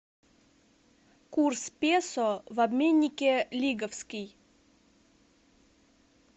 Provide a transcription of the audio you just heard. курс песо в обменнике лиговский